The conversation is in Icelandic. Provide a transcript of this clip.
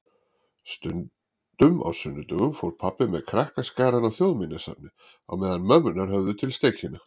Stundum á sunnudögum fór pabbi með krakkaskarann á Þjóðminjasafnið á meðan mömmurnar höfðu til steikina.